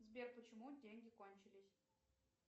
сбер почему деньги кончились